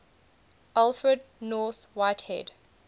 alfred north whitehead